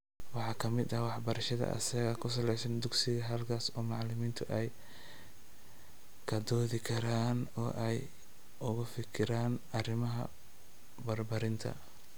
Waxa ka mid ah waxbarashada asaaga ku salaysan dugsiga halkaas oo macalimiintu ay ka doodi karaan oo ay uga fikiri karaan arrimaha barbaarinta.